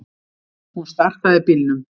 Hún startaði bílnum.